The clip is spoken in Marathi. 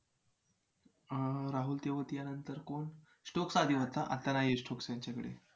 अं राहुल तेवातीयानंतर कोण? stokes आधी होता आता नाही आहे stokes त्यांच्याकडे